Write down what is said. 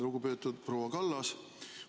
Lugupeetud proua Kallas!